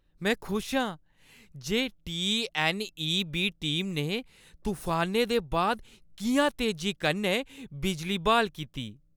में खुश हा जे टी.ऐन्न.ई.बी. टीम ने तफानै दे बाद किʼयां तेजी कन्नै बिजली ब्हाल कीती ।